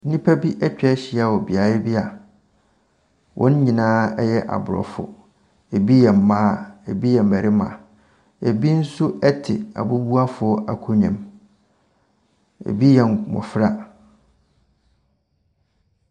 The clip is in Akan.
Nnipa bi atwa ahyia wɔ beaeɛ bi a wɔn nyinaa yɛ aborɔfo. Ebi yɛ mmaa, ebi yɛ mmarima. Ebi nso ɛte abubuafoɔ akonnwa mu. Ebi yɛ mmofra.